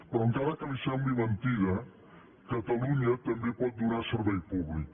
però encara que li sembli mentida catalunya també pot donar servei públic